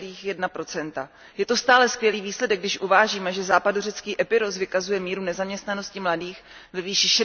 10,1 Je to stále skvělý výsledek, když uvážíme, že západořecký Epirus vykazuje míru nezaměstnanosti mladých ve výší